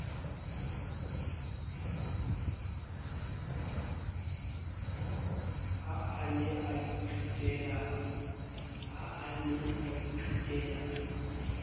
ha a ne a ithutela